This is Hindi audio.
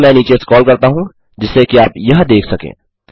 अब मैं नीचे स्क्रॉल करता हूँ जिससे कि आप यह देख सकें